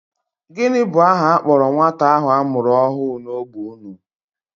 Gịnị bụ aha a kpọrọ nwata ahụ a mụrụ ọhụụ n'ógbè unu?